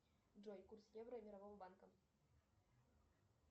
джой курс евро мирового банка